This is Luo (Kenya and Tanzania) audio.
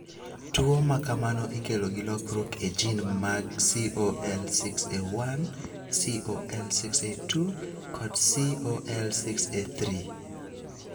Tuwo ma kamano ikelo gi lokruok e gene mag COL6A1, COL6A2, kod COL6A3.